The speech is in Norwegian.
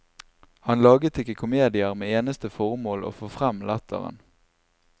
Han laget ikke komedier med eneste formål å få frem latteren.